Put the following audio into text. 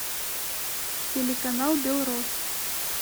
телеканал белрос